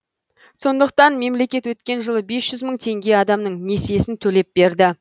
сондықтан мемлекет өткен жылы бес жүз мың теңге адамның несиесін төлеп берді